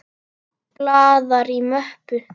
Blaðar í möppu.